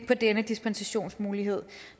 på denne dispensationsmulighed